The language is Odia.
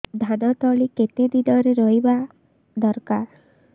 ଧାନ ତଳି କେତେ ଦିନରେ ରୋଈବା ଦରକାର